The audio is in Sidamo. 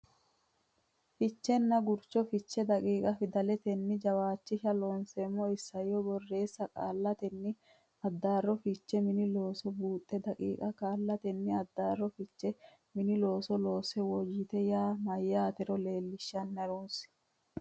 fichenna gurcho fiche daqiiqa Fidalete jawishasha Looseemmo Isayyo borreessa Qaallannita Addaarro Fiche Mini Looso Buuxa daqiiqa qaallannita addaarro fiche mini looso loossu woyte yaa mayyaatero leellishanna ha runse.